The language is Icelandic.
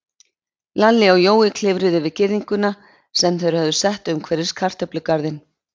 Lalli og Jói klifruðu yfir girðinguna sem þeir höfðu sett umhverfis kartöflugarðinn.